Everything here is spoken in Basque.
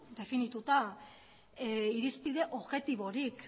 definituta irizpide objektiborik